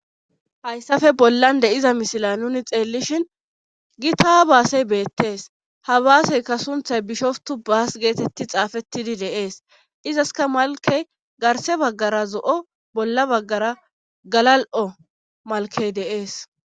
Hayssafe bollan de7iza mishila nuni xeellishin gi taa baasey beettees ha baaseykka sunthay bishoftu baas geetetti xaafettidi deees izaska malkey garse baggara zo7o bolla baggara galal7o malkey deees